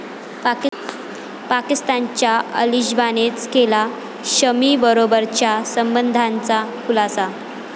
पाकिस्तानच्या अलिश्बानेच केला शमीबरोबरच्या संबंधांचा खुलासा